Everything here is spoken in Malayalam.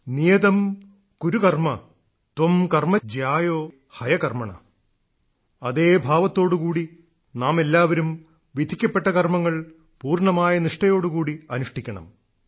നിയതം കുരു കർമ്മ ത്വം കർമ്മ ജ്യായോ ഹയ കർമ്മണ അതേ ഭാവത്തോടു കൂടി നാമെല്ലാവരും വിധിക്കപ്പെട്ട കർമ്മങ്ങൾ പൂർണ്ണമായ നിഷ്ഠയോടു കൂടി അനുഷ്ഠിക്കണം